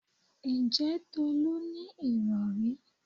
Ǹjẹ́ Tolú ní ìrọ̀rí?